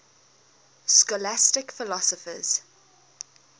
scholastic philosophers